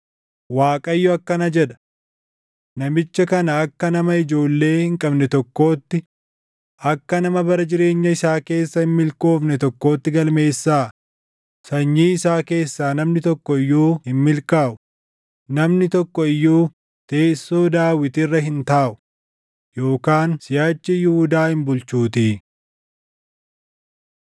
Waaqayyo akkana jedha: “Namicha kana akka nama ijoollee hin qabne tokkootti, akka nama bara jireenya isaa keessa hin milkoofne tokkootti galmeessaa; sanyii isaa keessaa namni tokko iyyuu hin milkaaʼu, namni tokko iyyuu teessoo Daawit irra hin taaʼu, yookaan siʼachi Yihuudaa hin bulchuutii.”